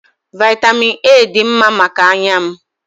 Vaịtamịn A dị mma maka anya m.